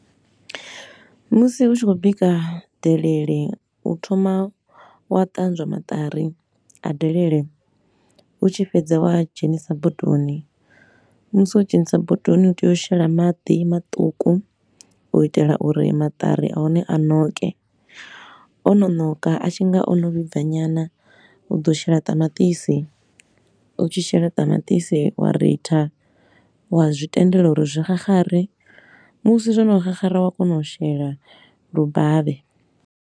Musi u tshi khou bika delelele, u thoma wa ṱanzwa maṱari a delele, u tshi fhedza wa a dzhenisa bodoni. Musi wo dzhenisa bodoni, u tea u shela maḓi maṱuku u itela uri maṱari a hone a ṋoke, o no ṋoka a tshi nga o no vhibva nyana, u ḓo shela ṱamaṱisi. U tshi shela ṱamaṱisi, wa ritha wa zwi tendela uri zwi xaxare, musi zwo no xaxara wa kona u shela lubavhe.